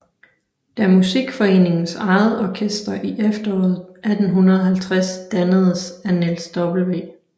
Da Musikforeningens eget orkester i efteråret 1850 dannedes af Niels W